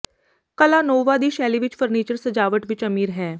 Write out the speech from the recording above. ਕਲਾ ਨੋਊਵਾ ਦੀ ਸ਼ੈਲੀ ਵਿਚ ਫਰਨੀਚਰ ਸਜਾਵਟ ਵਿਚ ਅਮੀਰ ਹੈ